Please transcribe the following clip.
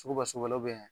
Suguba suba yan